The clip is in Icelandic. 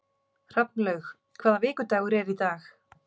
Hrafnlaug, hvaða vikudagur er í dag?